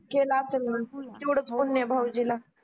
केला असेल मंग तेवढच पुण्य भावजीला